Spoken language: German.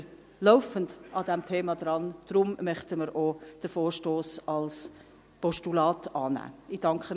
Deshalb sind wir laufend an diesem Thema dran, und deshalb möchten wir den Vorstoss als Postulat annehmen.